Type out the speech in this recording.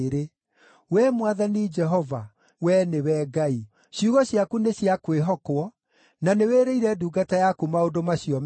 Wee Mwathani Jehova, Wee nĩwe Ngai! Ciugo ciaku nĩciakwĩhokwo, na nĩwĩrĩire ndungata yaku maũndũ macio mega.